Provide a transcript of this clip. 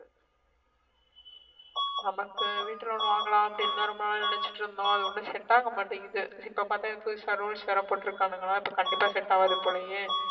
நமக்கு வீட்டு loan அப்டின்னு தான் ரொம்ப நாலா நினைச்சிட்டு இருந்தோம். அது ஒன்னும் set அகமட்டிங்குது இப்ப பாத்த புதுசா rules போற்றுகனுங்கள இப்ப கண்டிப்பா set அவது போலேயே.